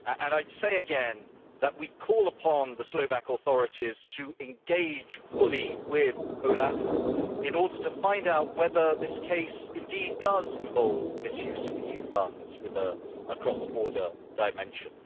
I reiterate that we call upon the Slovak authorities to engage fully with OLAF in order to find out whether this case does indeed involve misuse of EU funds with a cross-border dimension.